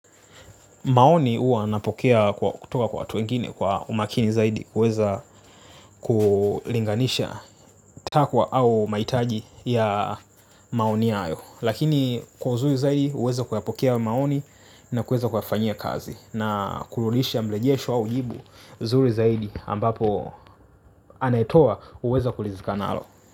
Maoni huwa napokea kutoka kwa watu wengine kwa umakini zaidi kuweza kulinganisha takwa au mahitaji ya maoni hayo. Lakini kwa uzuri zaidi uweze kuyapokea maoni na kuweza kuyafanyia kazi na kurudisha mrejesho au jibu zuri zaidi ambapo anaetoa huweza kuridhika nalo.